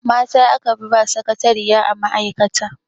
Mata a kafi ba sakatariya a ma'aikata.